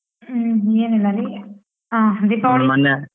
ಹ್ಮ್ ಏನಿಲ್ಲರಿ ಅ